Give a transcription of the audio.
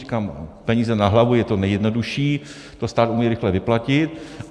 Říkám, peníze na hlavu je to nejjednodušší, to stát umí rychle vyplatit.